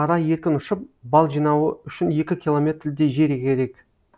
ара еркін ұшып бал жинауы үшін екі километрдей жер керек